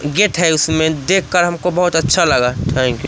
Gate है उसमें देखकर हमको बहुत अच्छा लगा थैंक यू ।